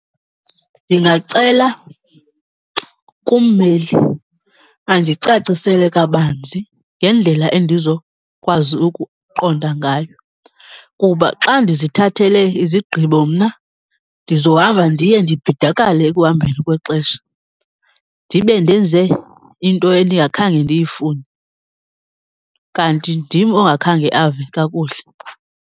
Ndingacela kummeli andicacisele kabanzi ngendlela endizokwazi ukuqonda ngayo. Kuba xa ndizithathele izigqibo mna ndizohamba ndiye ndibhidakale ekuhambeni kwexesha, ndibe ndenze into endingakhange ndiyifune kanti ndim ongakhange ave kakuhle.